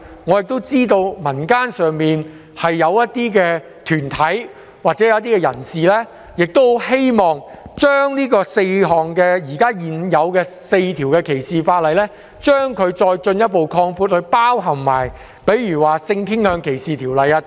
我知道民間一些團體或人士希望，反歧視條例的涵蓋範圍由現時的4項條例進一步擴闊至包括性傾向歧視法例。